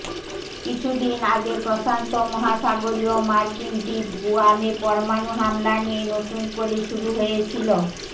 কিছু দিন আগে প্রশান্ত মহাসাগরীয় মার্কিন দ্বীপ গুয়ামে পরমাণু হামলা নিয়ে নতুন করে শুরু হয়েছিল